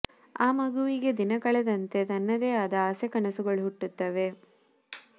ಆ ಮಗುವಿಗೆ ದಿನ ಕಳೆದಂತೆ ತನ್ನದೇ ಆದ ಆಸೆ ಕನಸುಗಳು ಹುಟ್ಟುತ್ತವೆ